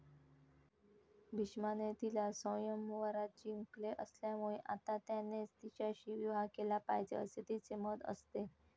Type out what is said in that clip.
भिष्माने तिला स्वयंवरात जिंकले असल्यामुळे आता त्यानेच तिच्याशी विवाह केला पाहिजे असे तिचे मत असते.